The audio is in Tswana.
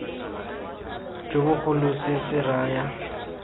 jo bogolo se se raya